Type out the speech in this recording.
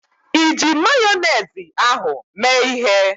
Iji Mayonezi ahụ mee ịhe?